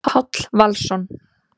Páll Valsson.